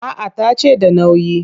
A'a ta ce da nauyi